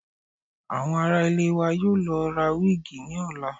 Àwọn ará ilé wa yóò lọ ra wíìgì ní ọ̀la